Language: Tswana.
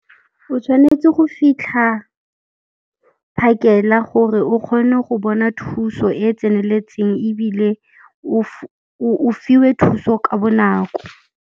O tshwanetse go fitlha phakela gore o kgone go bona thuso e tseneletseng ebile o fiwe thuso ka bonako.